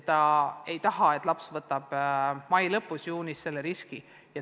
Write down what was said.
Ta ei taha, et laps võtaks mai lõpus või juunis selle riski.